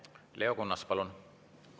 Leo Kunnas, palun!